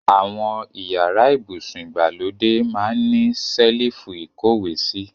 Awon iyara ibusun igbalode maa n ni selifu ikowesi